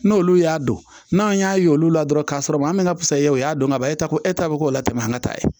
N'olu y'a don n'a y'a ye olu la dɔrɔn k'a sɔrɔ maa min bɛ ka pusaya u y'a dɔn ka ban e ta ko e ta bɛ k'o la tɛmɛ an ka ta ye